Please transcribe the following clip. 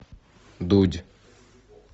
дудь